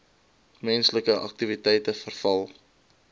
menslike aktiwiteite veral